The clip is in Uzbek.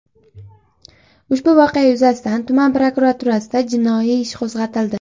Ushbu voqea yuzasidan tuman prokuraturasida jinoiy ish qo‘zg‘atildi.